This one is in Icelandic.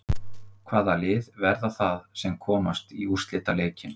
Hvaða lið verða það sem komast í úrslitaleikinn?